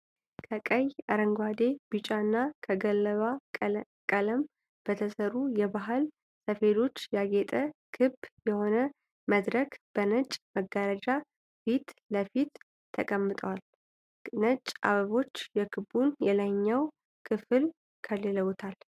ከቀይ፣ አረንጓዴ፣ ቢጫና ከገለባ ቀለም በተሠሩ የባህል ሰፌዶች ያጌጠ ክብ የሆነ መድረክ በነጭ መጋረጃ ፊት ለፊት ተቀምጧል። ነጭ አበቦች የክቡን የላይኛ ክፍል ከልለውታል።